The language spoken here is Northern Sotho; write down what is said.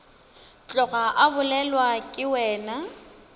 tloga a bolelwa ke wena